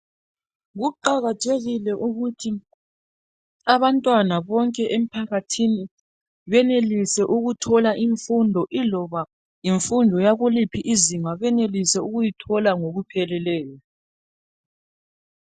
Kuqakathekile ukuthi abantwana bonke emphakathini benelise ukuthola imfundo iloba yimfundo yakuliphi izinga benelise ukuyithola ngokupheleleyo .